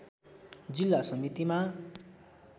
जिल्ला समितिमा